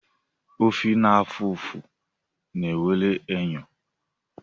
Ofe na-afụ ụfụ nwere enyo.